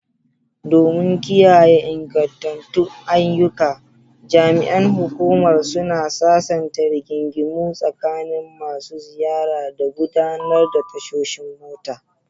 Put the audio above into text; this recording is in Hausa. Domin kiyaye ingantattun ayyuka, jami'an hukumar suna sasanta rigingimu tsakanin masu ziyara da gudanar da tashoshin mota.